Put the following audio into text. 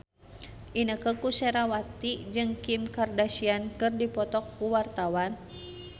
Inneke Koesherawati jeung Kim Kardashian keur dipoto ku wartawan